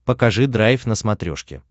покажи драйв на смотрешке